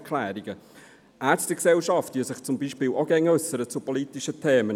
Die Ärztegesellschaft äussert sich beispielsweise auch immer zu politischen Themen.